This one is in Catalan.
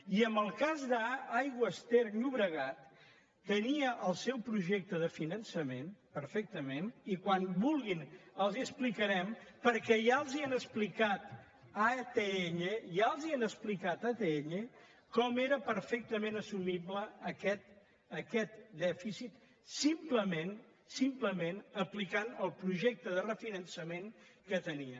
i en el cas d’aigües ter llobregat tenia el seu projecte de finançament perfectament i quan vulguin els l’explicarem perquè ja els han explicat a atll ja els ho han explicat a atll com era perfectament assumible aquest dèficit simplement simplement aplicant el projecte de refinançament que tenien